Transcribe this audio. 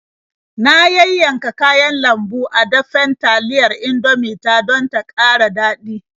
Na yayyanka kayan lambu a dafen taliyar Indomie ta don ta ƙara daɗi.